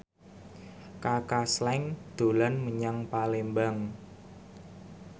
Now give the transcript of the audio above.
Kaka Slank dolan menyang Palembang